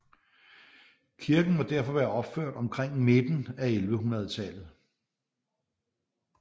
Kirken må derfor må være opført omkring midten af 1100 tallet